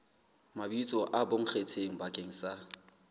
mabitso a bonkgetheng bakeng sa